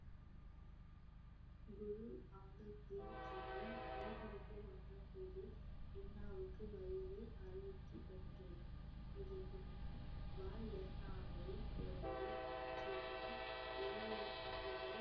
குரு அங்கத் தேவ் ஜியின் வீட்டிற்கு வந்த போது இன்னாவுக்கு வயசு அறுபத்தி ஒன்று இதற்கு முன் போலவே ஆட்சியையும் இருபது ஆண்டுகள்